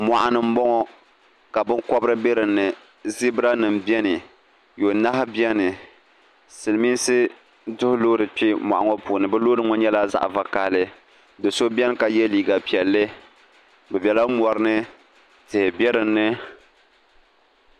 mɔɣuni m-bɔŋɔ ka binkɔbiri be di ni ziberanima beni yɔnahu beni silimiinsi duhi loori kpe mɔɣu ŋɔ puuni bɛ loori ŋɔ nyɛla zaɣ'vakahili do'so beni ka ye liiga piɛlli bɛ bela mɔrini tihi be di ni